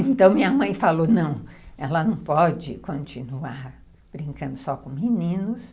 Então, minha mãe falou, não, ela não pode continuar brincando só com meninos.